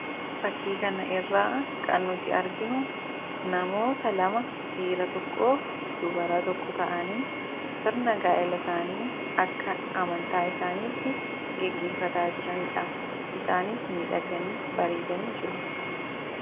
Fakkii kana irraa kan nuti arginu namoota lama, dhiira tokkoof dubara tokko ta'anii sirna gaa'ela isaanii akka amantaa isaaniitti gaggeeffataa jiranidha. Isaanis miidhaganii, bareedanii jiru.